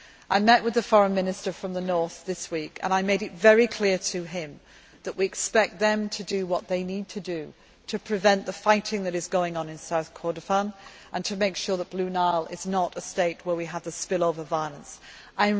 a new country. I met with the Foreign Minister from the north this week and I made it very clear to him that we expect them to do what they need to do to prevent the fighting that is going on in South Kordofan, and to make sure that we do not have spillover violence